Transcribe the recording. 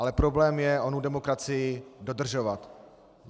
Ale problém je onu demokracii dodržovat.